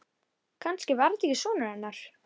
Kannski var þetta ekki sonur hennar.